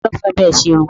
Ta ló fẹ́ bá ẹ ṣerun?